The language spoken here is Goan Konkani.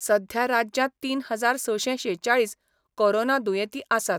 सध्या राज्यात तीन हजार सशें शेचाळीस कोरोना दुयेंतीं आसात.